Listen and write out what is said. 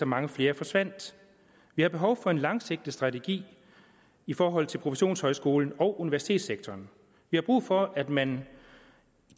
mange flere forsvandt vi har behov for en langsigtet strategi i forhold til professionshøjskolen og universitetssektoren vi har brug for at man